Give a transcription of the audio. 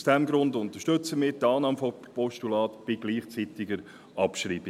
Aus diesem Grund unterstützen wir die Annahme des Postulats bei gleichzeitiger Abschreibung.